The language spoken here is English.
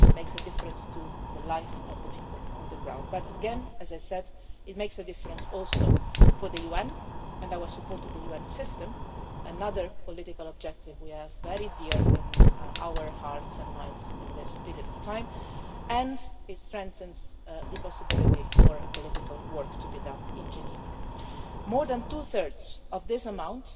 it makes a difference to the lives of the people on the ground. But again, as I said, it makes a difference also for the UN and our support to the UN system another political objective which is very dear in our hearts and minds in this period of time, and it strengthens the possibility for political work to be done in Geneva. More than two thirds of this